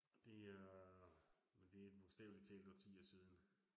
Og det er. Men det bogstavlig talt årtier siden